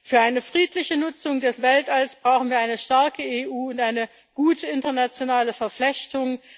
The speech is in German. Für eine friedliche Nutzung des Weltalls brauchen wir eine starke EU und eine gute internationale Verflechtung.